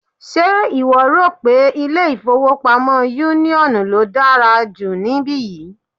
Ṣe ìwọ rò pé ilé-ìfowópamọ́ union ló dára jù níbí yìí?